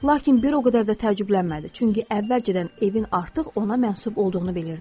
Lakin bir o qədər də təəccüblənmədi, çünki əvvəlcədən evin artıq ona mənsunb olduğunu bilirdi.